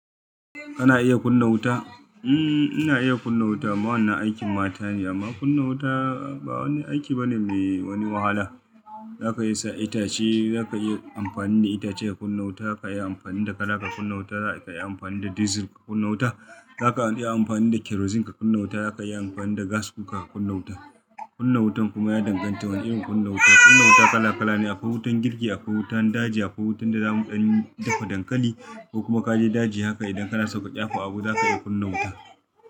Kana iya kunna wuta? Mm, ina iya kunna wuta. Amma wanan aikin mata ne amma kunna wuta ba wani aiki bane mai wani wahala. Zaka iya sa itace, zaka iya amfani da itace ka kunna wuta, ka iya amfani da kara ka kunna wuta, zaka iya amfani da dizil ka kunna wuta, zaka iya amfani da kerozin ka kunna wuta, zaka iya amfani da gas kuka ka kunna wuta. Kunna wutan kuma ya danganta wane irin kunna wuta. Kunna wuta kala kala ne, akwai wutan girki, akwai wutan daji, akwai wutan da zamu dan ɗafa dankali ko kuma kaje daji haka idan kana saka ɗyafu abu zaka iya kunna wuta.